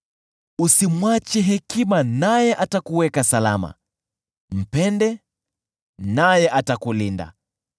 Usimwache hekima naye atakuweka salama; mpende, naye atakulinda.